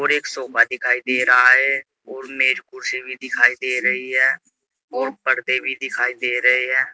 और एक सोफा भी दिखाई दे रहा है और मेज कुर्सी भी दिखाई दे रही है और पर्दे भी दिखाई दे रहे हैं।